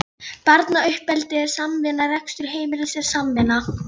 Barnauppeldið er samvinna, rekstur heimilisins er samvinna.